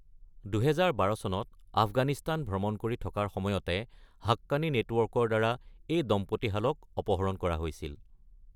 ২০১২ চনত আফগানিস্তান ভ্ৰমণ কৰি থকাৰ সময়তে হাক্কানী নেটৱৰ্কৰ দ্বাৰা এই দম্পতীহালক অপহৰণ কৰা হৈছিল।